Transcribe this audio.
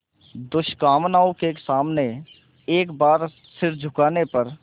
दुष्कामनाओं के सामने एक बार सिर झुकाने पर